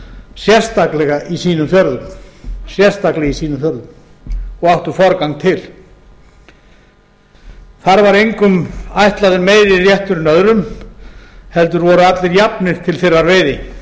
sérstaklega í sínum fjörðum og áttu forgang til þar var engum ætlaður meiri réttur en öðrum heldur voru allir jafnir til